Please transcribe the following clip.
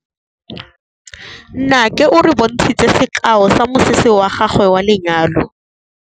Nnake o re bontshitse sekaô sa mosese wa gagwe wa lenyalo.